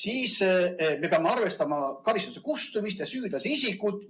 peame me arvestama karistuse kustumist ja süüdlase isikut.